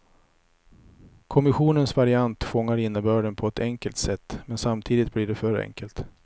Kommissionens variant fångar innebörden på ett enkelt sätt, men samtidigt blir det för enkelt.